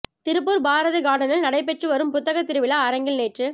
திருப்பூர் பாரதி கார்டனில் நடைபெற்று வரும் புத்தகத் திருவிழா அரங்கில் நேற்று